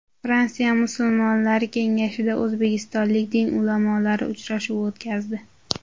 Fransiya musulmonlari kengashida o‘zbekistonlik din ulamolari uchrashuv o‘tkazdi.